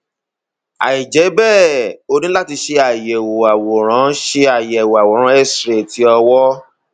àìjẹ bẹẹ o ní láti ṣe àyẹwò àwòrán ṣe àyẹwò àwòrán cs] xray ti ọwọ